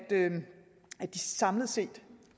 at de samlet set